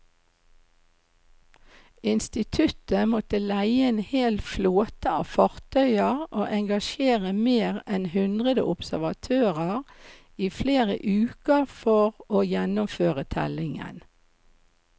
Instituttet måtte leie en hel flåte av fartøyer og engasjere mer enn hundre observatører i flere uker for å gjennomføre tellingen.